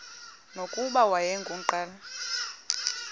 nokuba wayengu nqal